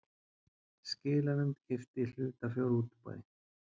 Skilanefnd keypti í hlutafjárútboði